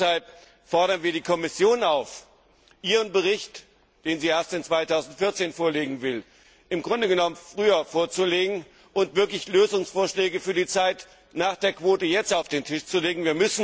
sein. Deshalb fordern wir die Kommission auf, ihren Bericht, den sie erst im Jahr 2014 vorlegen will, früher vorzulegen und wirklich Lösungsvorschläge für die Zeit nach der Quote jetzt auf den Tisch zu